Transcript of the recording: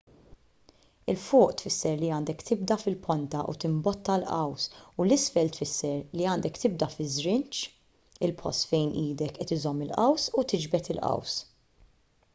'l fuq tfisser li għandek tibda fil-ponta u timbotta l-qaws u 'l isfel tfisser li għandek tibda fiż-żrinġ il-post fejn idek qed iżżomm il-qaws u tiġbed il-qaws